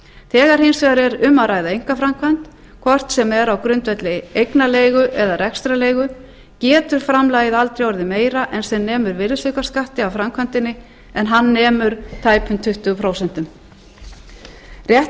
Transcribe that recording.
þegar hins vegar er um að ræða einkaframkvæmd hvort sem er á grundvelli eignarleigu eða rekstrarleigu getur framlagið aldrei orðið meira en sem nemur virðisaukaskatti af framkvæmdinni en hann nemur tæpum tuttugu prósent rétt